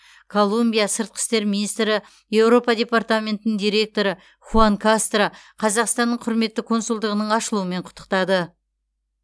колумбия сыртқы істер министрі еуропа департаментінің директоры хуан кастро қазақстанның құрметті консулдығының ашылуымен құттықтады